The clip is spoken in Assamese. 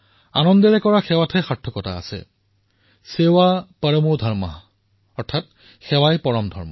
সেৱা শব্দৰ সাৰ্থকতা এই অৰ্থতেই আছে যে তাক আনন্দৰ সৈতে কৰিব লাগে সেৱাই পৰম ধৰ্ম